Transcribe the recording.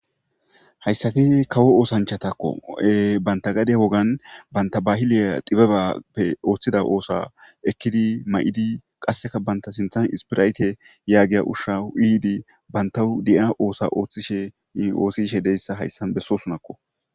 Hayssati kawo oosanchatakko banta gade wogan banta bahiliya dibebappe ooththida oosa ekkidi ma'idi qasseka banta sinthan ispirayte yaagiya ushshawu iidi bantau di'a oosa ooththishe oosishe deyssa hayssan bessosunakko.